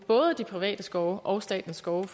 både de private skove og statens skove